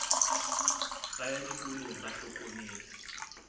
ba ya dikolong ba hlometse